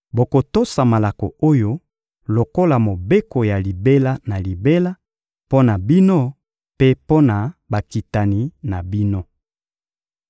Bokotosa malako oyo lokola mobeko ya libela na libela mpo na bino mpe mpo na bakitani na bino.